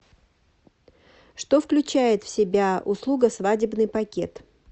что включает в себя услуга свадебный пакет